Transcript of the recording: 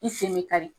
I sen bɛ kari